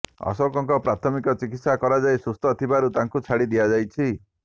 ଅଶୋକଙ୍କ ପ୍ରାଥମିକ ଚିକିତ୍ସା କରାଯାଇ ସୁସ୍ଥ ଥିବାରୁ ତାଙ୍କୁ ଛାଡ଼ି ଦିଆଯାଇଛି